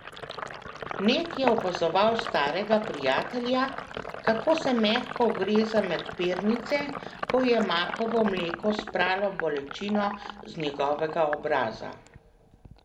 Ned je opazoval starega prijatelja, kako se mehko ugreza med pernice, ko je makovo mleko spralo bolečino z njegovega obraza.